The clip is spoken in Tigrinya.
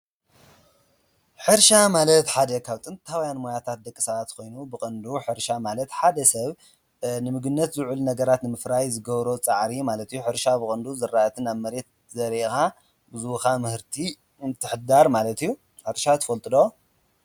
ሕርሻ ማለት ሓደ ካብ ጥንታውያን ሞያታት ደቂ ሰባት ኾይኑ ብቐንዱ ሕርሻ ማለት ሓደ ሰብ ንምግብነት ዝውዕል ነገራት ንምፍራይ ዝገብሮ ፃዕሪ ማለት አዩ፡፡ ሕርሻ ብቐንዱ ዝራእትን ኣብ መሬት ዘሪእኻ ዝህቡኻ ምህርቲ ንምምሕዳር ማለት እዩ፡፡፡ ሕርሻ ትፈልጡ ዶ?